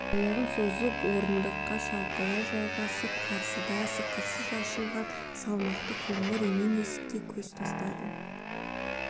аяғын созып орындыққа шалқалай жайғасып қарсыдағы сықырсыз ашылатын салмақты қоңыр емен есікке көз тастады